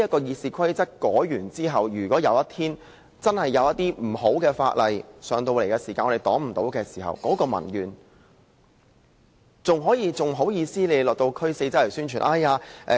《議事規則》修改後，如果有一天真的有些不好的法案提交予立法會而我們又未能阻擋時，民怨便無法紓解。